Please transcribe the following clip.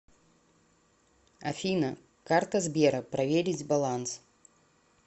афина карта сбера проверить баланс